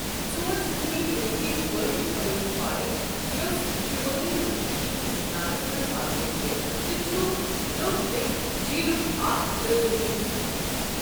ژور سکمی دُنیِہٕچ وٲحِد ہوٲیی پارک یۄس شمٲلی مشرقی ہندوستانَس منٛز واقعہ چھِ تہٕ چھُ لوکتِک جِیٖلُک اکھ لٲزمی حصہٕ ۔